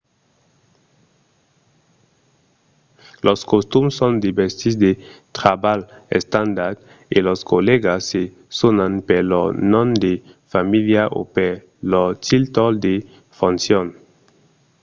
los costums son de vestits de trabalh estandard e los collègas se sonan per lor nom de familha o per lor títol de foncion